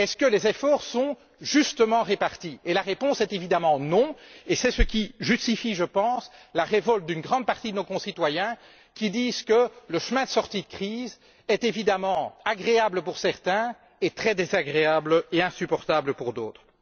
Les efforts sont ils justement répartis? La réponse est évidemment non, et c'est ce qui justifie, selon moi, la révolte d'une grande partie de nos concitoyens, qui disent que le chemin de sortie de crise est évidemment agréable pour certains et très désagréable et insupportable pour d'autres.